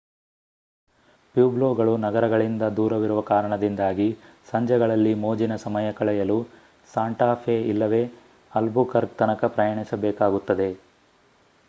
ಪ್ಯೂಬ್ಲೊಗಳು ನಗರಗಳಿಂದ ದೂರವಿರುವ ಕಾರಣದಿಂದಾಗಿ ಸಂಜೆಗಳಲ್ಲಿ ಮೋಜಿನ ಸಮಯ ಕಳೆಯಲು ಸಾಂಟಾ ಫೆ ಇಲ್ಲವೇ ಆಲ್ಬುಕರ್ಕ್ ತನಕ ಪ್ರಯಾಣಿಸಬೇಕಾಗುತ್ತದೆ